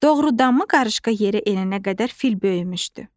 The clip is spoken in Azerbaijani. Doğrudanmı qarışqa yerə enənə qədər fil böyümüşdü?